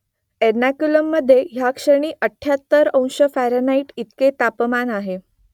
एर्नाकुलममधे या क्षणी अठ्ठ्याहत्तर अंश फॅरनहाईट इतकं तापमान आहे